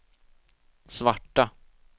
svarta